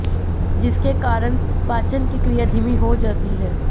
जिसके कारण पाचन की क्रिया धीमी हो जाती है